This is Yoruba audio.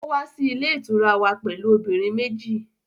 Ó wá sí ilé ìtura wa pẹ̀lú obìnrin méjì